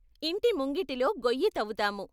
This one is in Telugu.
ఇంటి ముంగిటిలో గోయ్యి తవ్వుతాము.